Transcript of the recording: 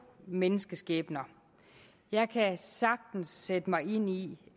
menneskeskæbner jeg kan sagtens sætte mig ind i